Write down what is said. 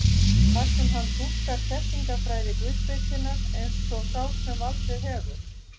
þar sem hann túlkar þekkingarfræði guðspekinnar eins og sá sem valdið hefur.